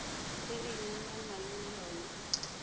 e e nyalanang le yona